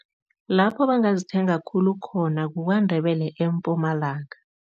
Lapho bangazithenga khulu khona kuKwaNdebele, eMpumalanga.